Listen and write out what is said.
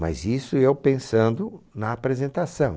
Mas isso eu pensando na apresentação.